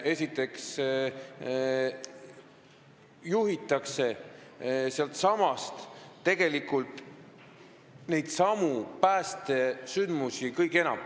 Esiteks juhitakse sealtsamast keskusest päästesündmusi kõige enam.